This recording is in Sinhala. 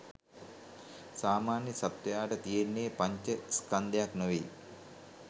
සාමාන්‍ය සත්වයාට තියෙන්නේ පංච ස්කන්ධයක් නෙවෙයි